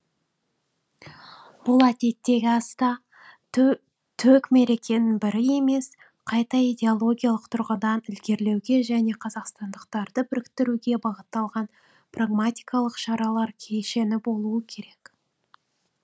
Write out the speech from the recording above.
бұл әдеттегі аста төк мерекенің бірі емес қайта идеологиялық тұрғыдан ілгерілеуге және қазақстандықтарды біріктіруге бағытталған прагматикалық шаралар кешені болуы керек